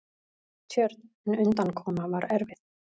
Tjörn, en undankoma var erfið.